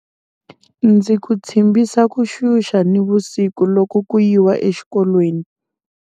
Ndzi ku tshimbisa ku xuxa nivusiku loko ku yiwa exikolweni.